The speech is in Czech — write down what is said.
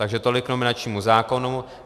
Takže tolik k nominačnímu zákonu.